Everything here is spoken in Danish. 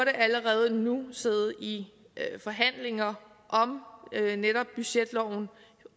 allerede nu burde sidde i forhandlinger om netop budgetloven